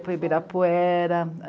para o ibirapuera